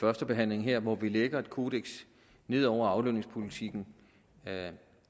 førstebehandlingen her hvor vi lægger en kodeks ned over aflønningspolitikken